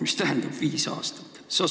Mis tähendab viis aastat?